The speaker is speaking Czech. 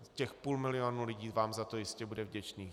Těch půl milionu lidí vám za to jistě bude vděčných.